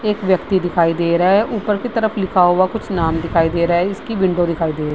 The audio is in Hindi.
एक व्यक्ति दिखाई दे रहा है। ऊपर की तरफ लिखा हुआ कुछ नाम दिखाई दे रहा है। इसकी विंडो दिखाई दे रही --